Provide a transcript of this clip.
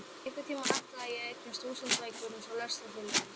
Einhvern tímann ætlaði ég að eignast þúsund bækur eins og Lestrarfélagið.